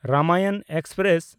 Ramayan express